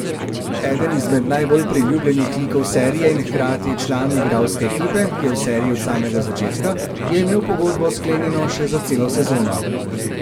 Eden izmed najbolj priljubljenih likov serije in hkrati član igralske ekipe, ki je v seriji od samega začetka, je imel pogodbo sklenjeno še za celo sezono.